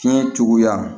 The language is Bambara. Fiɲɛ cogoya